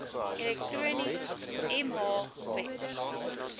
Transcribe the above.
elektronies mh web